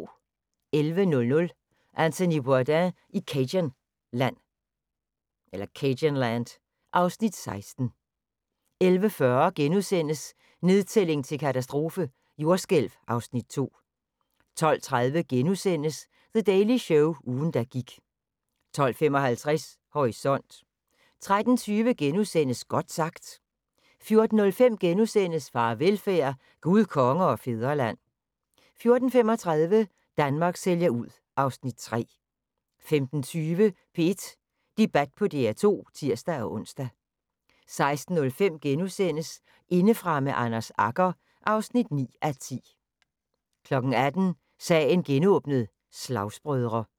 11:00: Anthony Bourdain i cajunland (Afs. 16) 11:40: Nedtælling til katastrofe – jordskælv (Afs. 2)* 12:30: The Daily Show – ugen der gik * 12:55: Horisont 13:20: Godt sagt * 14:05: Farvelfærd: Gud, Konge og Fædreland * 14:35: Danmark sælger ud (Afs. 3) 15:20: P1 Debat på DR2 (tir-ons) 16:05: Indefra med Anders Agger (9:10)* 18:00: Sagen genåbnet: Slagsbrødre